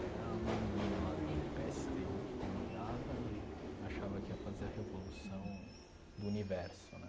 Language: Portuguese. Era uma menina lá do pê esse tê ú que comandava e achava que ia fazer a revolução do universo né.